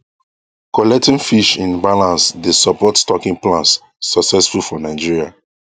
collecting fish in balance dey support stocking plans successful for nigeria